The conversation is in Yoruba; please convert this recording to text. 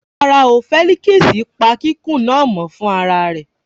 Rárá o, Fẹ́líkísì pa kikun náà mọ́ fún ara rẹ̀